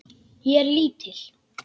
Ég er lítil.